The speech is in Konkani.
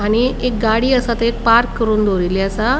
आणि एक गाड़ी आसा थंय पार्क करून दोवरीले आसा.